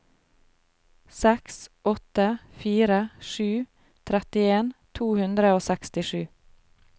seks åtte fire sju trettien to hundre og sekstisju